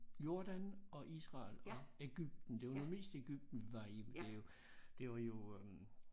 Jordan og Israel og Egypten det var nu mest Egypten vi var i det jo det var jo